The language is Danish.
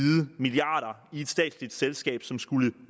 milliarder i et statsligt selskab som skulle